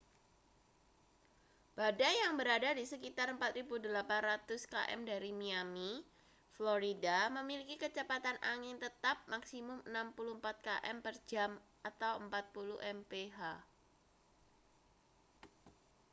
badai yang berada di sekitar 4.800 km dari miami florida memiliki kecepatan angin tetap maksimum 64 km per jam 40 mph